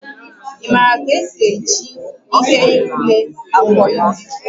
Ị maara ka esi eji ihe ule afọ ime?